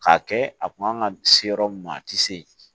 K'a kɛ a kun kan ka se yɔrɔ min ma a tɛ se yen